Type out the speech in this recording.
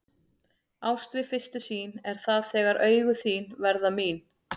Ást við fyrstu sýn er það þegar augun þín verða mín.